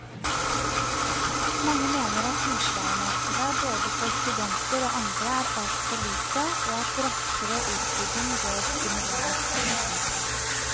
Mange mener at utleiemarkedet både for studenter og andre er altfor lite og at raskere utbygging bør stimuleres.